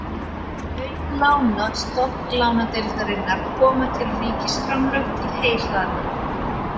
Auk lána Stofnlánadeildarinnar koma til ríkisframlög til heyhlaðna.